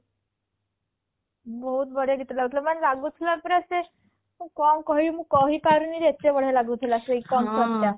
ବହୁତ ବଢ଼ିଆ ଗୀତ ଗାଉଥିଲା ମାନେ ଲାଗୁଥିଲା ପୁରା ସେ ମୁଁ କଣ କହିବି ମୁଁ କହି ପାରୁନି ଯେ ଏତେ ବଢ଼ିଆ ଲାଗୁ ଥିଲା ସେଇ concert ଟା